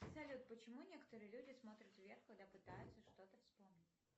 салют почему некоторые люди смотрят вверх когда пытаются что то вспомнить